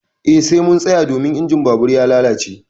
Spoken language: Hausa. Eh sai mun tsaya domin injin babur ya lalace.